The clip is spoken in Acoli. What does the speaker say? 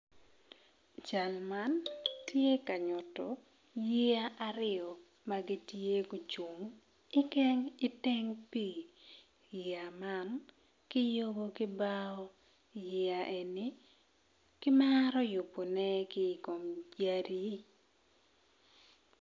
Cal man tye ka nyuto yeya aryo ma gitye ma gucung iteng pii yeya man kiyubo ki bao yeya eni kimaro yubone ki i kom yadi.